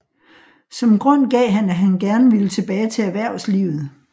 Som grund gav han at han gerne ville tilbage til erhvervslivet